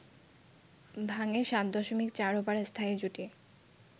ভাঙে ৭.৪ ওভার স্থায়ী জুটি